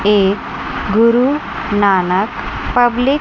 एक गुरुनानक पब्लिक --